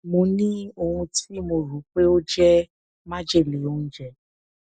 mo ní ohun tí mo rò pé ó jẹ májèlé oúnjẹ